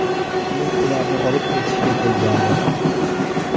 Men ularni olib ketishga kelgandim.